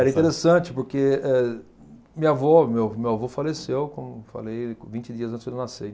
Era interessante, porque eh minha avó, meu meu avô faleceu, como eu falei, vinte dias antes de eu nascer.